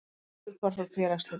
Afturhvarf frá félagsslitum